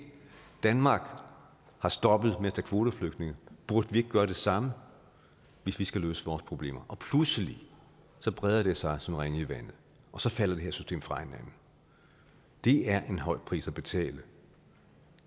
danmark har stoppet med at tage kvoteflygtninge burde vi ikke gøre det samme hvis vi skal løse vores problemer og pludselig breder det sig som ringe i vandet og så falder det her system fra hinanden det er en høj pris at betale